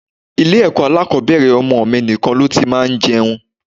Ilé ẹ̀kọ́ alákòbẹ̀rẹ̀ ọmọ mi nìkan ló ti máa ń jẹun.